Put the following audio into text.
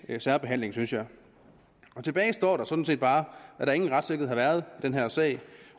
særbehandling synes jeg tilbage står der sådan set bare at der ingen retssikkerhed har været i den her sag